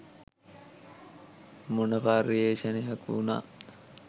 මොන පර්යේෂණයක් වුණත්